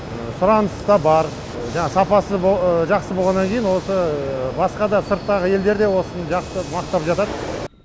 сұраныста бар жаңағы сапасы жақсы болғаннан кейін осы басқада сырттағы елдерде осыны жақсы мақтап жатады